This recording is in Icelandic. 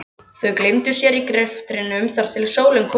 Þau gleymdu sér í greftrinum þar til sólin kom upp.